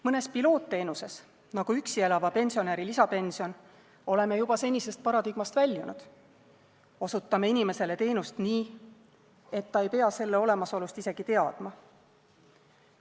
Mõnes pilootteenuses, nagu üksi elava pensionäri lisapension, oleme juba senisest paradigmast väljunud: me osutame inimesele teenust nii, et ta ei pea selle olemasolust isegi teadma.